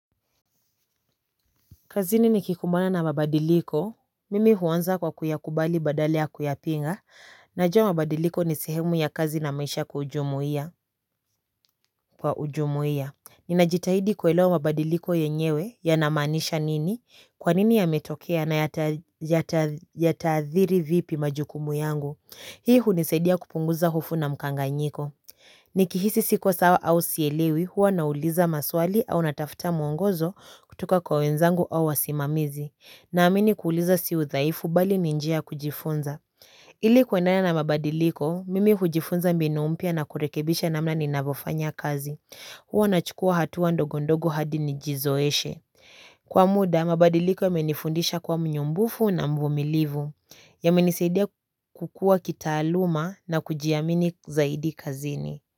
Kazini nikikumbana na mabadiliko, mimi huanza kwa kuyakubali badala ya kuyapinga, najua mabadiliko ni sehemu ya kazi na maisha kwa ujumuia. Ninajitahidi kuelewa mabadiliko yenyewe yana maanisha nini, kwa nini yametokea na yataadhiri vipi majukumu yangu. Hii hunisaidia kupunguza hofu na mkanganyiko. Nikihisi siko sawa au sielewi huwa nauliza maswali au natafuta mwongozo kutoka kwa wenzangu au wasimamizi. Naamini kuuliza si udhaifu bali ni njia ya kujifunza. Ili kuendelea na mabadiliko, mimi hujifunza mbinu mpya na kujifunza namna ninavyofanya kazi. Huwa nachukua hatua ndogondogo hadi nijizoeshe. Kwa muda, mabadiliko yamenifundisha kuwa mnyumbufu na mvumilivu. Yamenisaidia kukua kitaaluma na kujiamini zaidi kazini.